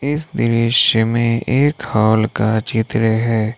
इस दृश्य में एक हॉल का चित्र है।